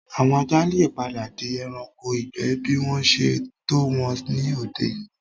Àwọn ajá le padà di ẹranko ìgbẹ́ bí wọ́n ṣe tọ́ wọn ní òde-òní